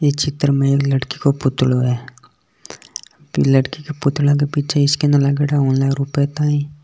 ये चित्र मे एक लड़की को पुतलों है ये लड़की के पुतला के पीछे स्कैनर लागयोड़ो है ऑनलाइन रुपया --